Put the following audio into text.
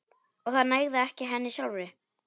Og það nægði ekki henni sjálfri.